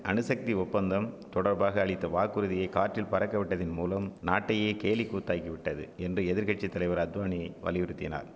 அணுசக்தி ஒப்பந்தம் தொடர்பாக அளித்த வாக்குறுதிய காற்றில் பறக்க விட்டதின் மூலம் நாட்டையே கேலி கூத்தாக்கிவிட்டது என்று எதிர்கட்சி தலைவர் அத்வானி வலியுறித்தினார்